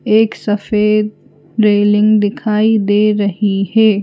एक सफेद रेलिंग दिखाई दे रही है।